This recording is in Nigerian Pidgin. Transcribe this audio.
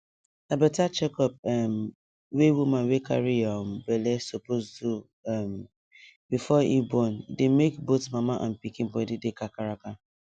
na better checkup um wey woman wey carry um belle suppose do um before e born dey make both mama and pikin body dey kakaraka